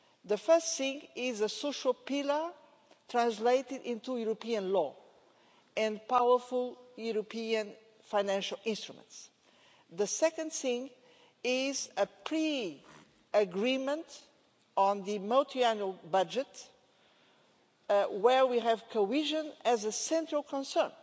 The first thing is a social pillar translated into European law and powerful European financial instruments. The second thing is a pre agreement on the multiannual budget, on which cohesion is a central concern,